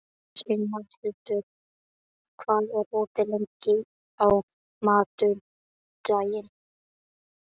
Signhildur, hvað er opið lengi á mánudaginn?